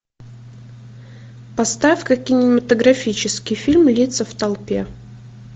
поставь ка кинематографический фильм лица в толпе